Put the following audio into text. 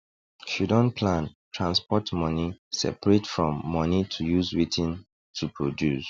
she don plan transport money separate from money to use wetin toproduce